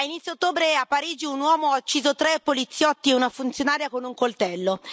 A inizio ottobre a Parigi, un uomo ha ucciso tre poliziotti e una funzionaria con un coltello.